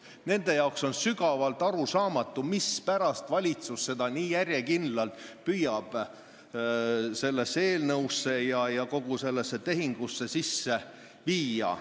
Nendele on sügavalt arusaamatu, mispärast valitsus seda nii järjekindlalt püüab sellesse eelnõusse ja kogu sellesse tehingusse sisse viia.